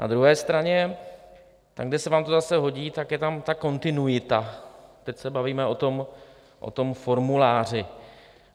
Na druhé straně tam, kde se vám to zase hodí, tak je tam ta kontinuita - teď se bavíme o tom formuláři.